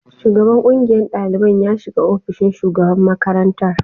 Shugaban ƙungiyar ɗaliban ya shiga ofishin shugaban makarantar